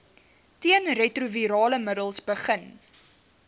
teenretrovirale middels begin